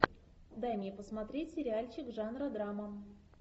дай мне посмотреть сериальчик жанра драма